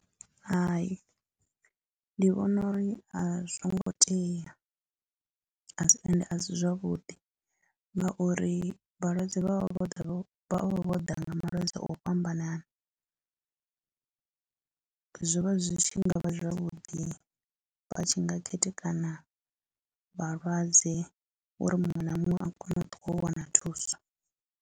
Hai ndi vhona uri a zwo ngo tea a si, ende a si zwavhuḓi ngauri vhalwadze vha vha vho vho vho ḓa nga malwadze o fhambananana, zwo vha zwi tshi nga vha zwavhuḓi vha tshi nga khethekana vhalwadze uri muṅwe na muṅwe a kone u ṱuwa o wana thuso.